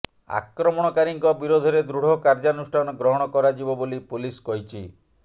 ଆକ୍ରମଣକାରୀଙ୍କ ବିରୋଧରେ ଦୃଢ଼ କାର୍ଯ୍ୟାନୁଷ୍ଠାନ ଗ୍ରହଣ କରାଯିବ ବୋଲି ପୋଲିସ କହିଛି